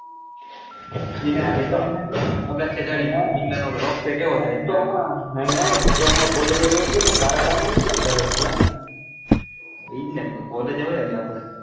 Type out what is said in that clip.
T તો હમણાં ટી તો હમણાં collage કારાગામાં ની ક્યાં ગરજ એજ ને collage હવે આપડે,